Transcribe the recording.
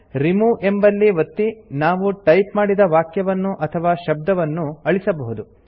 remove ಎಂಬಲ್ಲಿ ಒತ್ತಿ ನಾವು ಟೈಪ್ ಮಾಡಿದ ವಾಕ್ಯವನ್ನು ಅಥವಾ ಶಬ್ದವನ್ನು ಅಳಿಸಬಹುದು